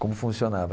Como funcionava?